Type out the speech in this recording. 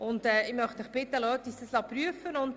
Ich möchte Sie bitten, uns das prüfen zu lassen.